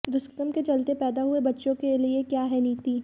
दुष्कर्म के चलते पैदा हुए बच्चों के लिए क्या है नीति